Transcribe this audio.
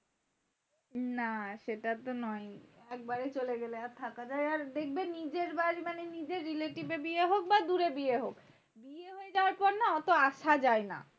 না সেটা তো নয়। একবারে চলে গেলে আর থাকা যায়? আর দেখবে নিজের বাড়ি মানে নিজের relative এর বিয়ে হোক বা দূরে বিয়ে হোক বিয়ে হয়ে যাওয়ার পর না ওত আসা যায়না।